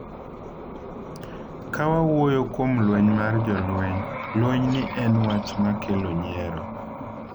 """Ka wawuoyo kuom lweny mar jolweny, lwenyni en wach ma kelo nyiero."